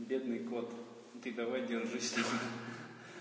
бедный кот ты давай держись